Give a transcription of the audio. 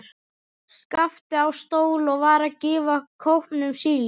Skapti á stól og var að gefa kópnum síld.